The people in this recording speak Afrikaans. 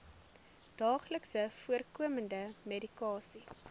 daagliks voorkomende medikasie